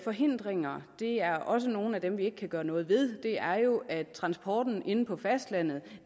forhindringer er også nogle af dem som vi ikke kan gøre noget ved det er jo at transporten inde på fastlandet